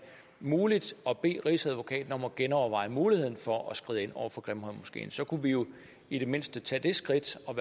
muligt at bede rigsadvokaten om at genoverveje muligheden for at skride ind over for grimhøjmoskeen så kunne vi jo i det mindste tage det skridt og